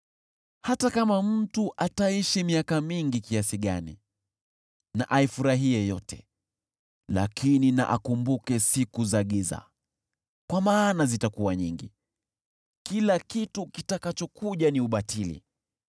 Hata kama mtu ataishi miaka mingi kiasi gani, na aifurahie yote. Lakini na akumbuke siku za giza, kwa maana zitakuwa nyingi. Kila kitu kitakachokuja ni ubatili.